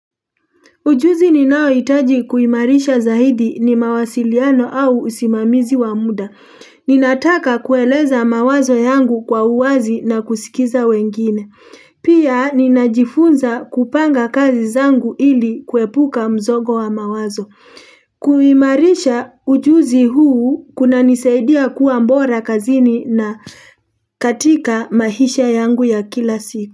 Ujuzi ninao hitaji kuimarisha zaidi ni mawasiliano au usimamizi wa muda. Ninataka kueleza mawazo yangu kwa uwazi na kusikiza wengine. Pia najifunza kupanga kazi zangu ili kuepuka mzogo wa mawazo. Kuimarisha ujuzi huu kunanisaidia kua bora kazini na katika maisha yangu ya kila siku.